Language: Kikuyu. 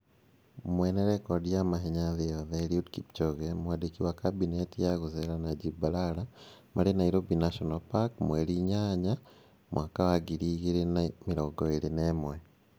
Mwene rekondi ya mahenya thĩ yoothe Eliud Kipchoge. Mwandiki wa Kabinete ya gũceera Najib Balala. Marĩ Nairobi National Park mweri 8, 2021.